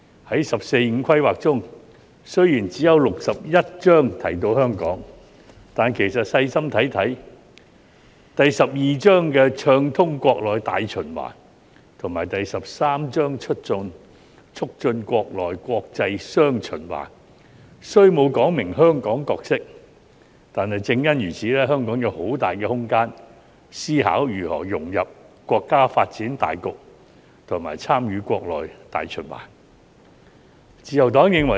在"十四五"規劃中，雖然只有第六十一章提到香港，但其實細心閱讀，在第十二章《暢通國內大循環》和第十三章《促進國內國際雙循環》中，雖沒有說明香港的角色，但正因如此，香港有很大的空間思考如何融入國家發展大局及參與國內大循環。